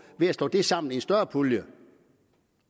ved at slå det sammen i en større pulje